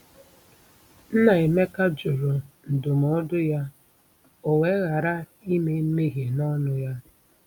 Nnaemeka jụrụ ndụmọdụ ya, o wee ghara “ime mmehie n’ọnụ ya.”